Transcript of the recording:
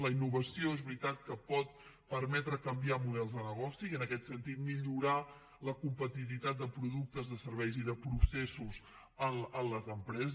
la innovació és veritat que pot permetre canviar models de negoci i en aquest sentit millorar la competitivitat de productes de serveis i de processos en les empreses